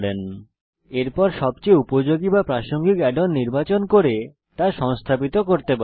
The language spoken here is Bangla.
এরপর আপনি সবচেয়ে উপযোগী বা প্রাসঙ্গিক অ্যাড অন নির্বাচন করে তা সংস্থাপিত করতে পারেন